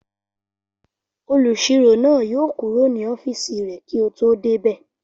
Olùsirò náà yóò kúrò ní ọ́fìsì rẹ̀ kí o tó débẹ̀